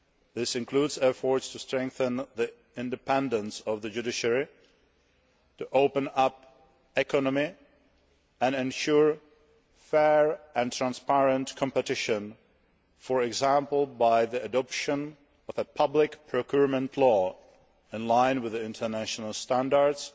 This includes efforts to strengthen the independence of the judiciary, to open up the economy and to ensure fair and transparent competition for example, by the adoption of a public procurement law in line with international standards